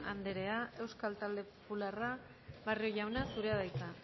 andrea euskal talde popularra barrio jauna zurea da hitza